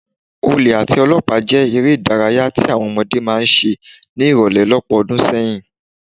Olè àti olọ́pàá jẹ́ eré ìdárayá tí àwọn ọmọdé máa ń ṣe ní ìrọ̀lẹ́ lọ́pọ̀ ọdún sẹ́yìn